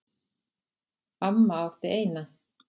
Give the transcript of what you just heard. Amma átti eina.